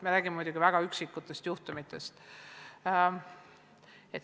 Me räägime muidugi väga üksikutest juhtumitest.